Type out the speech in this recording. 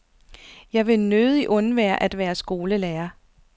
Jeg ville nødig undvære at være skolelærer.